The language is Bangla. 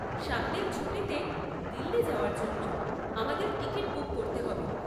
সামনের ছুটিতে দিল্লি যাওয়ার জন্য আমাদের টিকিট বুক করতে হবে।